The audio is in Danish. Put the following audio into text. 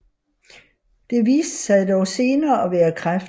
Det viste sig dog senere at være kræft